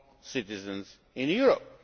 citizens in Europe.